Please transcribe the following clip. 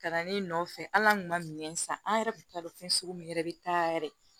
Ka na ne nɔfɛ hali an kun ma minɛn san an yɛrɛ kun t'a dɔn fɛn sugu min yɛrɛ bɛ taa yɛrɛ